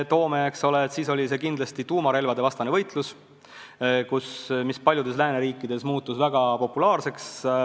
Eks ole, siis oli see kindlasti tuumarelvadevastane võitlus, mis paljudes lääneriikides muutus väga populaarseks.